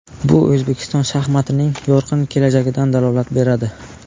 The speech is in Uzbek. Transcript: Bu O‘zbekiston shaxmatining yorqin kelajagidan dalolat beradi.